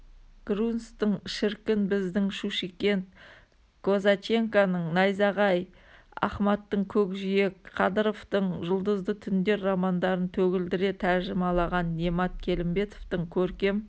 грунцтың шіркін біздің шушикент козаченканың найзағай ахмадтың көкжиек қадыровтың жұлдызды түндер романдарын төгілдіре тәржімалаған немат келімбетовтың көркем